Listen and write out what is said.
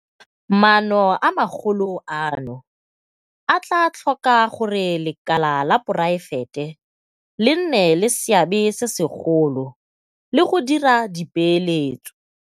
Maano a magolo ano a tla tlhoka gore lekala la poraefete le nne le seabe se segolo le go dira dipeeletso.